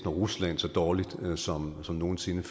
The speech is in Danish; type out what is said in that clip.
og rusland så dårligt som som nogen sinde